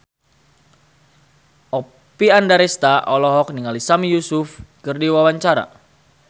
Oppie Andaresta olohok ningali Sami Yusuf keur diwawancara